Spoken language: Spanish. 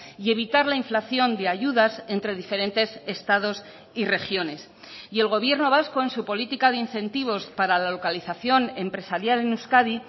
y evitar la inflación de ayudas entre diferentes estados y regiones y el gobierno vasco en su política de incentivos para la localización empresarial en euskadi